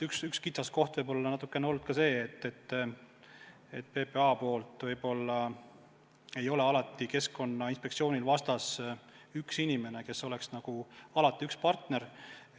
Üks kitsaskoht on võib-olla olnud ka see, et PPA esindajana ei ole alati Keskkonnainspektsioonil vastas üks inimene, kes oleks alati konkreetne partner.